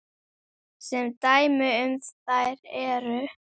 Sem dæmi um þær eru